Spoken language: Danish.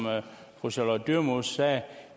fru charlotte dyremose sagde